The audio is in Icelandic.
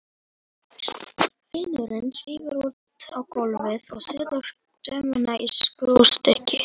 Vinurinn svífur út á gólfið og setur dömuna í skrúfstykki.